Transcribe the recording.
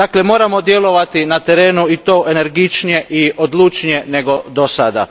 Dakle, moramo djelovati na terenu i to energičnije i odlučnije nego dosad.